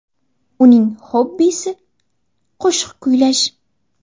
Uning xobbisi – qo‘shiq kuylash.